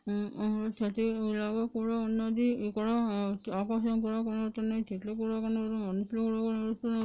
ఊ ఊ క్షత్రియలు లాగా ఉన్నదీ ఇక్కడ ఆకాశం కూడా కనపడుతున్నది చెట్లు కూడా కనపడుతున్నది మనుషులు కూడా కనపడుతున్నది.